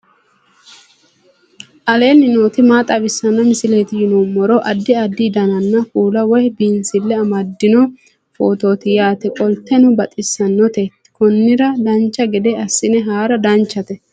aleenni nooti maa xawisanno misileeti yinummoro addi addi dananna kuula woy biinsille amaddino footooti yaate qoltenno baxissannote konnira dancha gede assine haara danchate